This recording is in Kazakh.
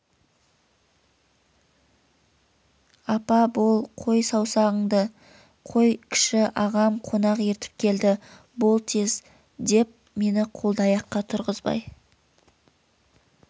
апа бол қой сауғанынды қой кіші ағам қонақ ертіп келді бол тез деп мені қолды-аяққа тұрғызбай